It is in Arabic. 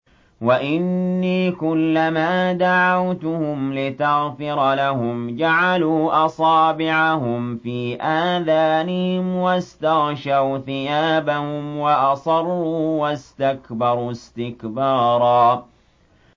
وَإِنِّي كُلَّمَا دَعَوْتُهُمْ لِتَغْفِرَ لَهُمْ جَعَلُوا أَصَابِعَهُمْ فِي آذَانِهِمْ وَاسْتَغْشَوْا ثِيَابَهُمْ وَأَصَرُّوا وَاسْتَكْبَرُوا اسْتِكْبَارًا